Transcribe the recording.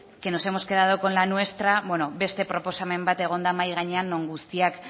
que nos hemos quedado con la nuestra bueno beste proposamen bat egon da mahai gainean non guztiak